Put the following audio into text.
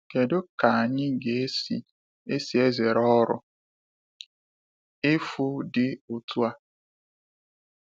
Kedu ka anyị ga - esi esi zere ọrụ efu dị otu a?